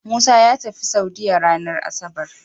Musa yatafi saudiya ranar asabar